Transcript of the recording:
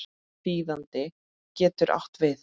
Þýðandi getur átt við